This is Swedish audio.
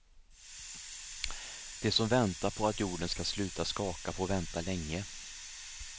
De som väntar på att jorden skall sluta skaka får vänta länge.